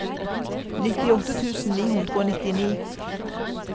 nittiåtte tusen ni hundre og nittini